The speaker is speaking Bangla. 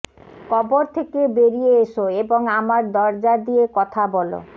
কবর থেকে বেরিয়ে এসো এবং আমার দরজা দিয়ে কথা বল